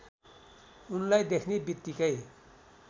उनलाई देख्ने बित्तिकै